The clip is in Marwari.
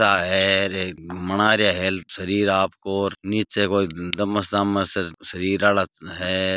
टा है र बना रहिया हेल्थ शरीर आपको नीचे कोई डमस अमस शरीर आला है र।